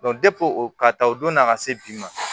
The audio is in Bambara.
depi o ka ta o don na a ka se bi ma